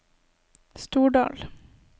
Stordal